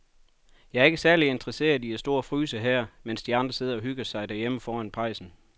Jeg er ikke særlig interesseret i at stå og fryse her, mens de andre sidder og hygger sig derhjemme foran pejsen.